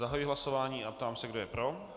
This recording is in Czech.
Zahajuji hlasování a ptám se, kdo je pro.